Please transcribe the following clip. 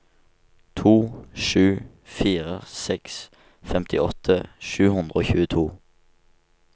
to sju fire seks femtiåtte sju hundre og tjueto